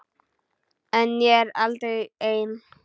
En ég er aldrei ein.